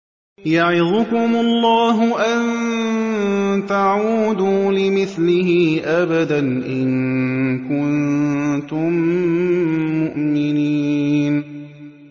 يَعِظُكُمُ اللَّهُ أَن تَعُودُوا لِمِثْلِهِ أَبَدًا إِن كُنتُم مُّؤْمِنِينَ